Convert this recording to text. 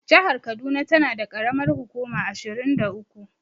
Jahar kaduna tana da ƙaramar hukuma ashirin da uku.